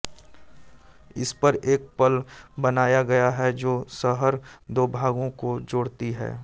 इस पर एक पल बनाया गया है जो शहर दो भागों को जोड़ती है